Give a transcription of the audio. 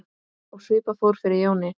Og svipað fór fyrir Jóni.